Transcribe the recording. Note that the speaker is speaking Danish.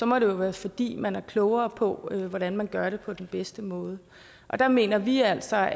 må det være fordi man er klogere på hvordan man gør det på den bedste måde og der mener vi altså